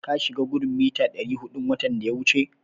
Ka shiga gudun mita ɗari huɗun watan da ya wuce?